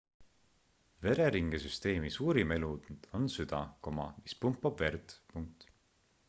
vereringesüsteemi suurim elund on süda mis pumpab verd